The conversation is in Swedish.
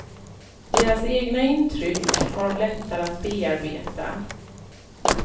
Deras egna intyck har de lättare att bearbeta.